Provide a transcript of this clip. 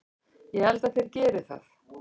Ég held að þeir geri það!